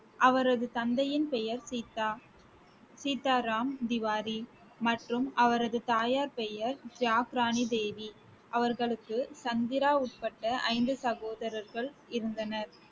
அவரது தந்தையின் பெயர் சீதா~ சீதாராம் திவாரி மற்றும் அவரது தாயார் பெயர் ஜக்ரானி தேவி அவர்களுக்கு சந்திரா உட்பட்ட ஐந்து சகோதரர்கள் இருந்தனர்